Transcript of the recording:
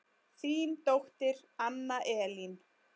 Þín dóttir Anna Elín.